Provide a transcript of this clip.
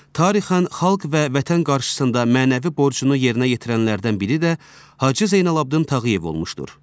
Tarixən xalq və vətən qarşısında mənəvi borcunu yerinə yetirənlərdən biri də Hacı Zeynalabdin Tağıyev olmuşdur.